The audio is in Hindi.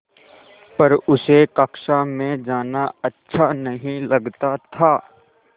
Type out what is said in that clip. पर उसे कक्षा में जाना अच्छा नहीं लगता था